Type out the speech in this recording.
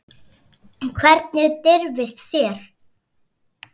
Hvernig dirfist þér.